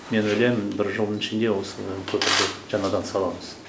мен ойлаймын бір жылдың ішінде осы көпірді жаңадан саламыз